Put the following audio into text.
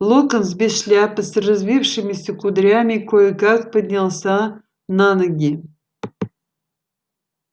локонс без шляпы с развившимися кудрями кое-как поднялся на ноги